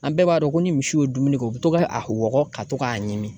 An bɛɛ b'a dɔn ko ni misi ye dumuni kɛ u bi to ka a wɔgɔ ka to k'a ɲimi